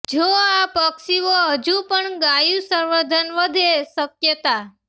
જો આ પક્ષીઓ હજુ પણ ગાયું સંવર્ધન વધે શક્યતા